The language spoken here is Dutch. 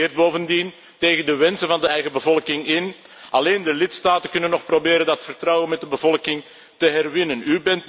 U regeert bovendien tegen de wensen van de eigen bevolking in. Alleen de lidstaten kunnen nog proberen dat vertrouwen van de bevolking te herwinnen.